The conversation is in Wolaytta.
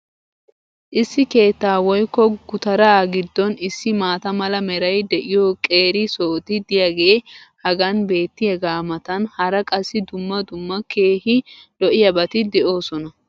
Issi keettaa woykko gutaraa giddon issi maata mala meray de'iyo qeeri sohoti diyaagee hagan beetiyaagaa matan hara qassi dumma dumma keehi lo'iyaabatikka de'oosona.